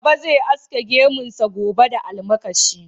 Baba zai aske gemunsa gobe da almakashi.